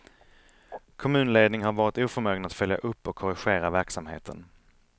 Kommunledning har varit oförmögen att följa upp och korrigera verksamheten.